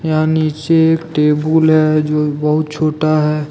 यह नीचे एक टेबुल हैजो बहुत छोटा है।